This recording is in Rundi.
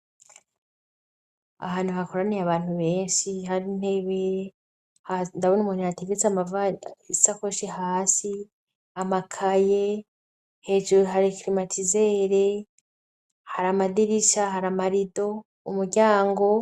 Ahantu hakoraniye abantu benshi hari inkengeri ndabona umuntu yateretse amasakoshi hasi, amakaye, hejuru hari krimatizere hari amadirisha hari amarido, umuryango.